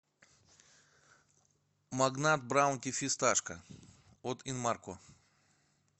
магнат браунти фисташка от инмарко